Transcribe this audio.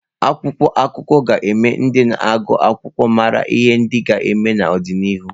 Akwụkwọ akụkọ ga-eme ka ndị na-agụ akwụkwọ mara ihe ndị ga-eme n'ọdịnihu.